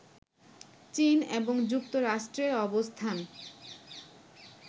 চীন এবং যুক্তরাষ্ট্রের অবস্থান